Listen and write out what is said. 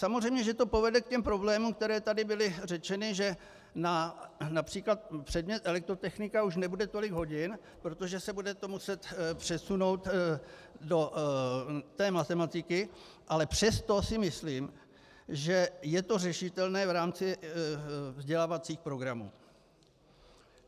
Samozřejmě že to povede k těm problémům, které tady byly řečeny, že například předmět elektrotechnika už nebude tolik hodin, protože se bude to muset přesunout do té matematiky, ale přesto si myslím, že je to řešitelné v rámci vzdělávacích programů.